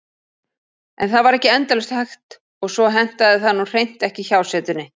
En það var ekki endalaust hægt og svo hentaði það nú hreint ekki hjásetunni.